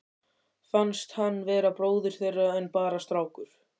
Fannst hann vera bróðir þeirra en bara strákur.